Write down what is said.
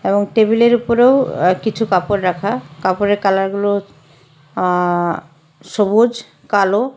এবং টেবিলের উপরেও আ কিছু কাপড় রাখা কাপড়ের কালারগুলো আ সবুজ কালো--